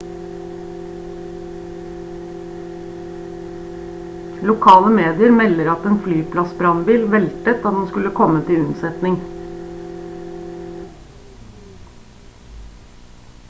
lokale medier melder at en flyplassbrannbil veltet da den skulle komme til unnsetning